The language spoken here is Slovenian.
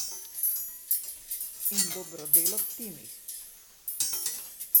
In dobro delo v timih.